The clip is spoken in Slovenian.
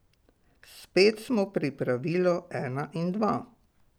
Spet smo pri pravilu ena in dva.